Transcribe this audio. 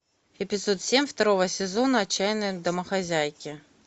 эпизод семь второго сезона отчаянные домохозяйки